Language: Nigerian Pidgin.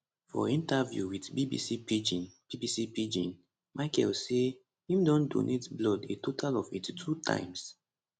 for interview wit bbc pidgin bbc pidgin michael say im don donate blood a total of 82 times